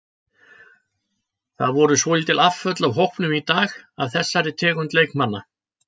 Það voru svolítil afföll af hópnum í dag af þessari tegund leikmanna.